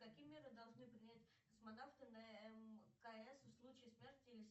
какие меры должны принять космонавты на мкс в случае смерти или